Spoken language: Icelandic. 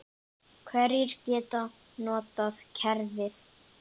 Hverjir geta notað kerfið?